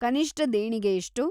ಕನಿಷ್ಟ ದೇಣಿಗೆ ಎಷ್ಟು?